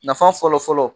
Nafa fɔlɔfɔlɔ